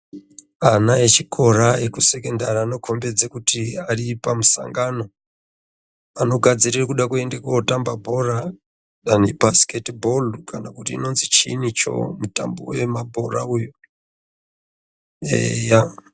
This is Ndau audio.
Ana echikora ekusekendari anokombidze kuti ari pamusangano, anogadzirire kuda kuende kootamba bhora, danu ibhasiketi bhoru kana kuti inonzi chiinicho mutambo wemabhora uyu, eya.